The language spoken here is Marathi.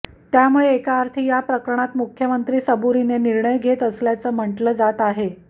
त्यामुळं एकाअर्थी या प्रकरणात मुख्यमंत्री सबुरीने निर्णय घेत असल्याचं म्हटलं जात आहे